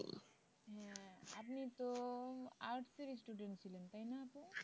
হ্যাঁ আপনি তো arts এর student ছিলেন তাই না আপু?